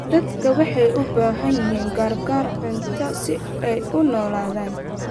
Dadku waxay u baahan yihiin gargaar cunto si ay u noolaadaan.